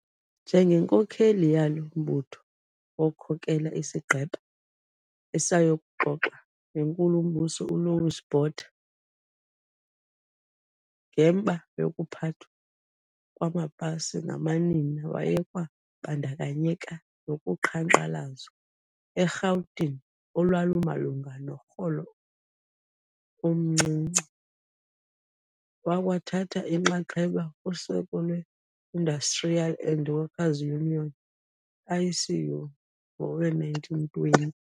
Njengenkokheli yalo mbutho wakhokela isigqeba esayokuxoxa neNkulu-mbuso uLouis Botha ngemba yokuphathwa kwamapasi ngamanina. Wayekwabandakanyeka nokuqhankqalazo eRhawutini olwalumalunga norholo omncinci wakwa thatha inxaxheba kuseko lweIndustrial and Workers' Union, ICU, ngowe-1920.